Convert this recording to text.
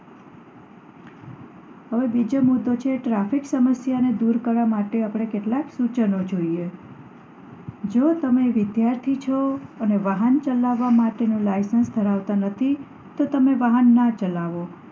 હવે બીજો મુદ્દો છે traffiic સમસ્યા ને દૂર કરવા માટે આપણે કેટલાક સૂચનો જોઈએ જો તમે વિધાર્થી છો અને વાહન ચલાવવાનું licence ધરાવતા નથી તો તમે વાહન ન ચલાવો